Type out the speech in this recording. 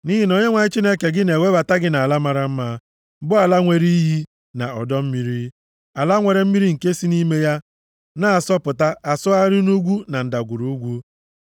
Nʼihi na Onyenwe anyị Chineke gị na-ewebata gị nʼala mara mma, bụ ala nwere iyi, na ọdọ mmiri, ala nwere mmiri nke si nʼime ya na-asọpụta asọgharị nʼugwu na ndagwurugwu,